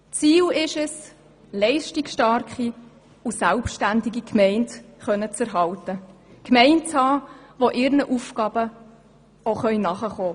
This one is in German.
Ziel ist es, leistungsstarke und selbständige Gemeinden zu erhalten, die ihren Aufgaben nachkommen können.